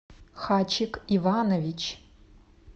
хачик иванович